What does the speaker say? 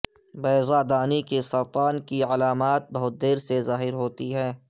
بیضہ دانی کے سرطان کی علامات بہت دیر سے ظاہر ہوتی ہیں